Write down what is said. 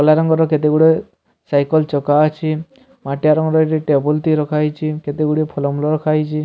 କଲା ରଙ୍ଗର କେତେ ଗୁଡେ ସାଇକଲ ଚକା ଅଛି ମାଟିଆ ରଙ୍ଗର ଏଠି ଟେବୁଲ ଟିଏ ରଖାହେଇଚି କେତେ ଗୁଡେ ଫଲ ମୂଲ ରଖାହେଇଚି।